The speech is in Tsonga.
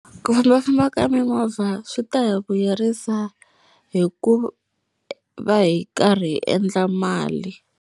Ku fambafamba ka mimovha swi ta hi vuyerisa hi ku va hi karhi hi endla mali.